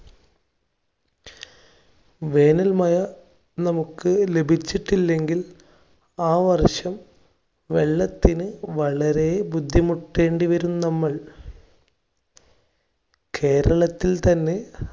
വേനൽ മയ നമുക്ക് ലഭിച്ചിട്ടില്ലെങ്കിൽ ആ വർഷം വെള്ളത്തിന് വളരെ ബുദ്ധിമുട്ടേണ്ടിവരും നമ്മൾ. കേരളത്തിൽ തന്നെ